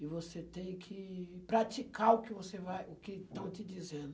E você tem que praticar o que você vai, o que estão te dizendo.